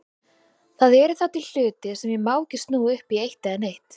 Það eru þá til hlutir sem ég má ekki snúa upp í eitt eða neitt.